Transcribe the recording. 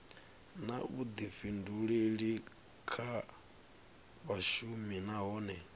na vhuḓifhinduleli kha vhashumi nahone